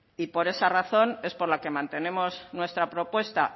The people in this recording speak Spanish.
por esa razón es por la que mantenemos nuestra propuesta